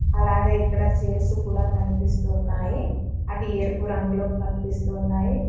అలాగే ఇక్కడ చైర్స్ కూడా కనిపిస్తున్నాయి. అవి ఎరుపు రంగులో కనిపిస్తున్నాయి.